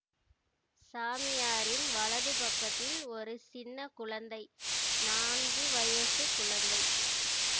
சாமியாரின் வலது பக்கத்தில் ஒரு சின்ன குழந்தை நான்கு வயசுக் குழந்தை